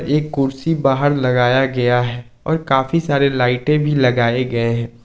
एक कुर्सी बाहर लगाया गया है और काफी सारे लाइटें भी लगाए गए हैं।